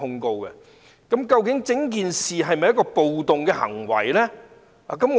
究竟有關事件是否暴動行為？